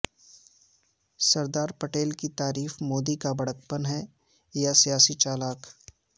سردار پٹیل کی تعریف مودی کا بڑکپن ہے یا سیاسی چالاک